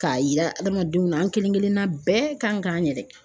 K'a yira adamadenw na an kelenkelenna bɛɛ kan k'an yɛrɛ.